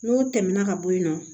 N'o tɛmɛna ka bɔ yen nɔ